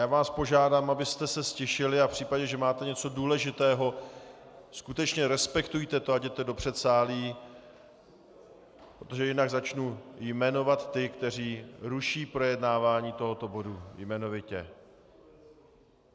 Já vás požádám, abyste se ztišili, a v případě, že máte něco důležitého, skutečně respektujte to a jděte do předsálí, protože jinak začnu jmenovat ty, kteří ruší projednávání tohoto bodu, jmenovitě.